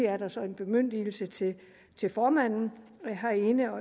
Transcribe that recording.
er der så en bemyndigelse til til formanden herinde